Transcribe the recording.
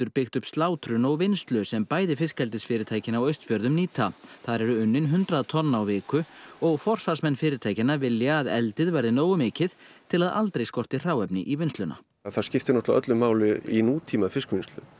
byggt upp slátrun og vinnslu sem bæði fiskeldisfyrirtækin á Austfjörðum nýta þar eru unnin hundrað tonn á viku og forsvarsmenn fyrirtækjanna vilja að eldi verði nógu mikið til að aldrei skorti hráefni í vinnsluna það skiptir öllu máli í nútíma fiskvinnslu